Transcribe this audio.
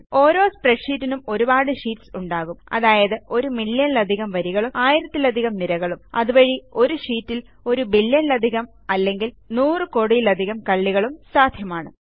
ഓരോ സ്പ്രെഡ്ഷീറ്റിനും ഒരുപാട് ഷീറ്റ്സ് ഉണ്ടാകും അതായത് ഒരു മില്യണിലധികം വരികളും ആയിരത്തിലധികം നിരകളും അതുവഴി ഒരു ഷീറ്റിൽ ഒരു ബില്യണിലധികം അല്ലെങ്കിൽ നൂറ് കോടിയിലധികം കള്ളികളും സാദ്ധ്യമാണ്